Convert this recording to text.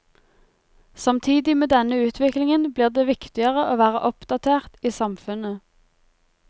Samtidig med denne utviklingen blir det viktigere å være oppdatert i samfunnet.